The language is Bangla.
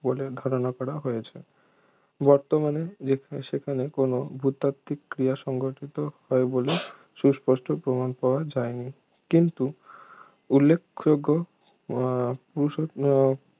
বলে ধারণা করা হয়েছে বর্তমানে ইয়ে সেখানে কোন ভূতাত্ত্বিক ক্রিয়া সংঘটিত হয় বলে সুস্পষ্ট প্রমাণ পাওয়া যায়নি কিন্তু উল্লেখযোগ্য উহ পুরু উহ